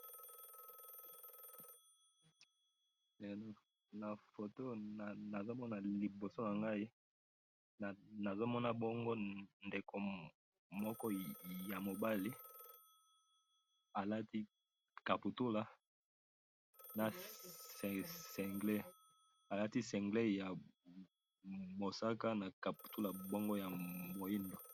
na photo oyo nazo mona liboso na ngai, nazo mona bongo ndeko moko ya mobali, alati kaputula na singlet, alati singlet ya mosaka na kaputula bongoya moindo